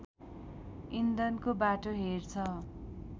इन्धनको बाटो हेर्छ